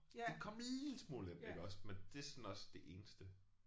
Det kom en lille smule ind iggås men det er sådan også det eneste